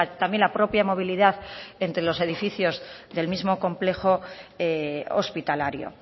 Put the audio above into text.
también la propia movilidad entre los edificios del mismo complejo hospitalario